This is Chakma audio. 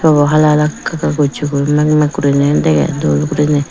obo hala hala kaa kaa gossey guriney meg meg guriney degey dol guriney.